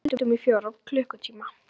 Við tefldum í fjóra klukkutíma!